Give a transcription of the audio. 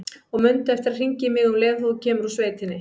Og mundu eftir að hringja í mig um leið og þú kemur úr sveitinni.